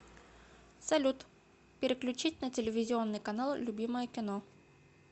салют переключить на телевизионный канал любимое кино